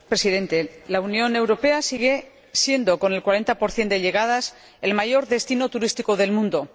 Señor Presidente, la Unión Europea sigue siendo, con el 40 de llegadas, el mayor destino turístico del mundo.